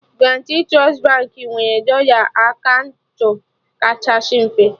Guarantee Trust Baankị nwere dọla akaụntụ kachasị mfe